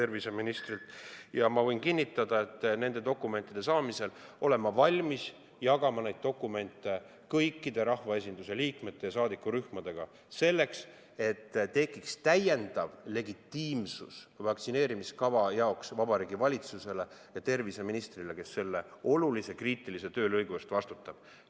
Võin kinnitada, et kui ma olen need dokumendid saanud, olen ma valmis jagama neid kõikide rahvaesinduse liikmete ja saadikurühmadega, selleks et vaktsineerimiskava jaoks tekiks täiendav legitiimsus Vabariigi Valitsusele ja terviseministrile, kes selle olulise kriitilise töölõigu eest vastutab.